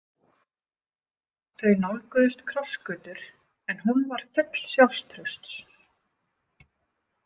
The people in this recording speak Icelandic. Þau nálguðust krossgötur en hún var full sjálfstrausts.